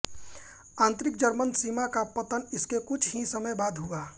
आंतरिक जर्मन सीमा का पतन इसके कुछ ही समय बाद हुआ